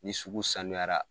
Ni sugu sanuyara